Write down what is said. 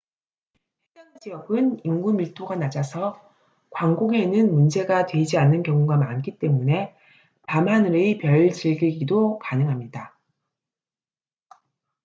해당 지역은 인구 밀도가 낮아서 광공해는 문제가 되지 않는 경우가 많기 때문에 밤하늘의 별 즐기기도 가능합니다